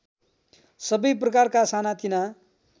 सबै प्रकारका सानातिना